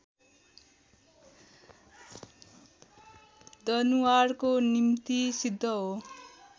दनुवारको निम्ति सिद्ध हो